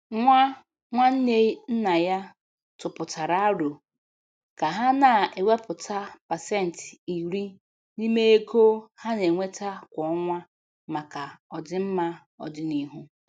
Nwa nwanne nna ya tụpụtara árò ka ha na-ewepụta pasentị iri n'ime ego ha na-enweta kwa ọnwa maka ọdịmma ọdịnihu.